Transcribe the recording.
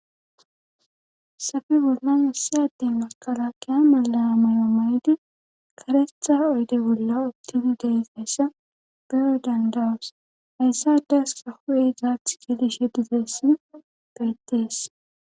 Haysafi bollan issi addin makala keya malaa mayo may7di karetha oyde bolla optinideys essa beyo dandawus hayssade aska hu7e izaath gelishhe ditessi beyttees